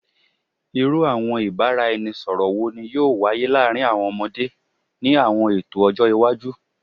Iru awọn ibaraẹnisọrọ wo ni yoo waye laarin awọn ọmọde ni awọn eto ọjọ iwaju?